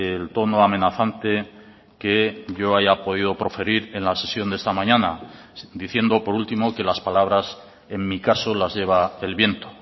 el tono amenazante que yo haya podido proferir en la sesión de esta mañana diciendo por último que las palabras en mi caso las lleva el viento